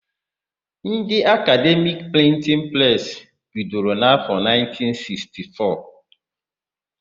Ndị Akademi Prịntịn presị bidoro n'afọ 1964.